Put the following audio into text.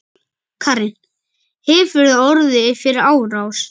Karen: Hefurðu orðið fyrir árás?